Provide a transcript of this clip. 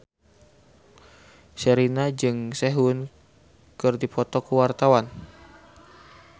Sherina jeung Sehun keur dipoto ku wartawan